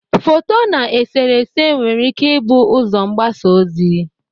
Foto na eserese nwere ike ibụ ụzọ mgbasa ozi.